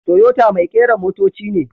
Toyota mai kera motoci ne.